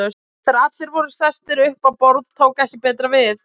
Þegar allir voru sestir upp á borð tók ekki betra við.